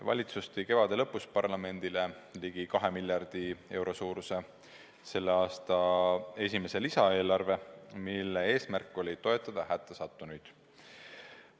Valitsus tõi kevade lõpus parlamendi ette ligi kahe miljardi euro suuruse selle aasta lisaeelarve, mille eesmärk oli toetada hätta sattunuid.